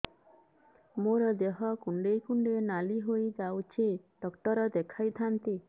ମୋର ଦେହ କୁଣ୍ଡେଇ କୁଣ୍ଡେଇ ନାଲି ହୋଇଯାଉଛି ଡକ୍ଟର ଦେଖାଇ ଥାଆନ୍ତି